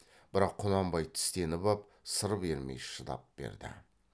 бірақ құнанбай тістеніп ап сыр бермей шыдап берді